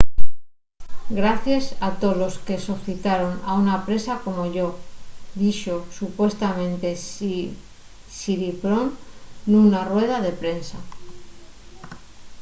gracies a tolos que sofitaron a una presa como yo” dixo supuestamente siriporn nuna rueda de prensa